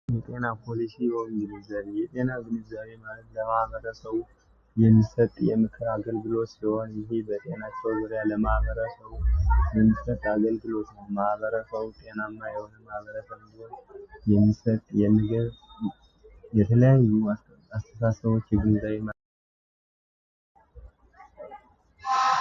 የጤና ፖሊሺ ንዘዊ የጤና ቪንዘዊ ለማህበረ ሰው የሚሰጥ የምክራ አገልግሎች ስልሆን ይሄ በጤና ሰው ውሪያ ለማህበረ ሰው የሚሰጥ አገልግሎች ማህበረ ሰው ጤና ና የውህም አበረ በንዙ ገየተለያይ አስተሳ ሰዎች የግንዛይ አይነት ነው።